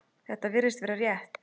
Þetta virðist vera rétt.